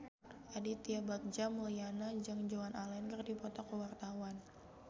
Aditya Bagja Mulyana jeung Joan Allen keur dipoto ku wartawan